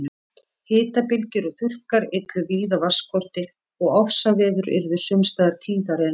Hitabylgjur og þurrkar yllu víða vatnsskorti og ofsaveður yrðu sums staðar tíðari en nú.